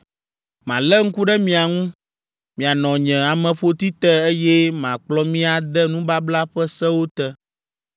‘Malé ŋku ɖe mia ŋu, mianɔ nye ameƒoti te, eye makplɔ mi ade nubabla ƒe sewo te.